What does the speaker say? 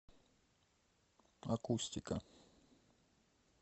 акустика